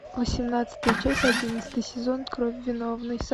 восемнадцатая часть одиннадцатый сезон кровь виновной